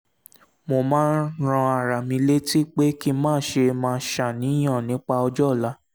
mo máa ń rán ara mi létí pé kí n má ṣe máa ṣàníyàn nípa ọjọ́ ọ̀la